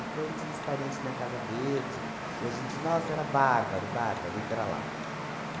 Então, tinha os parente na Casa Verde, e a gente, nossa, era bárbaro, bárbaro, ir para lá.